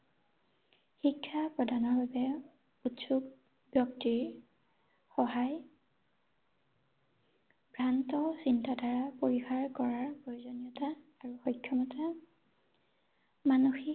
শিক্ষা প্ৰধান ৰূপে উৎসুক ব্যক্তিৰ সহায় ভ্ৰান্ত চিন্তাধাৰা পৰিসাৰ কৰা প্ৰয়োজনীয়তা আৰু সক্ষমতা মানসিক